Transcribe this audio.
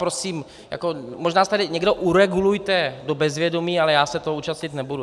Prosím, možná se tady někdo uregulujte do bezvědomí, ale já se toho účastnit nebudu.